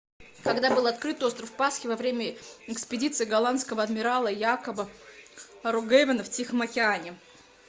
когда был открыт остров пасхи во время экспедиции голландского адмирала якоба роггевена в тихом океане